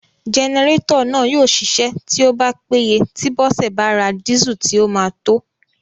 Jẹnẹrétọ̀ náà yóò ṣiṣẹ́ tí ó péye tí Bọ́sẹ̀ bá ra dísù tí ó máa tó